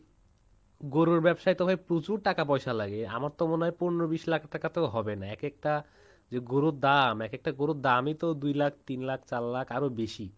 গরুর ব্যবসায় তো ভাই প্রচুর টাকা পয়সা লাগে আমার তো মনে হয় পনেরো বিশ লাখ টাকাতেও হবে না এক একটা যে গরুর দাম এক একটা গরুর দাম ই তো দুই লাখ তিন লাখ চার লাখ আরো বেশি।